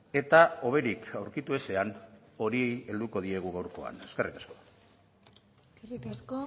eta hoberik aurkitu ezean horiei helduko diegu gaurkoan eskerrik asko eskerrik asko